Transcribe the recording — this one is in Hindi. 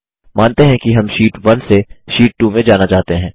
मानते हैं कि हम शीट 1 से शीट 2 में जाना चाहते हैं